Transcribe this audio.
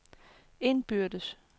indbyrdes